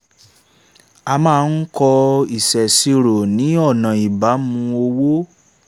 a máa ń kọ ìṣèṣirò ni ọ̀nà ìbámu owó